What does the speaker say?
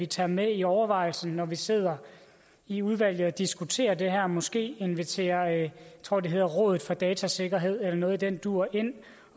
tager med i overvejelserne når vi sidder i udvalget og diskuterer det her måske invitere jeg tror det hedder rådet for datasikkerhed eller noget i den dur ind